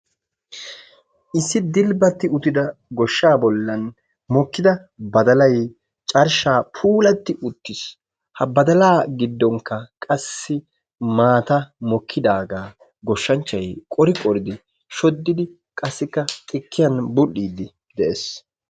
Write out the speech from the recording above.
Issi dilbbatti uttida shooqaa bollan mokkida badalay carshshaa puulatti uttiis ha badalaa giddonkka qassi maatay mokkidaagaa goshshanchchay qori qoridi shoddidi, qassikka xikkiyan bul"iiddi de'ees.